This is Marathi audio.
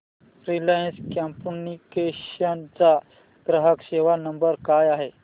रिलायन्स कम्युनिकेशन्स चा ग्राहक सेवा नंबर काय आहे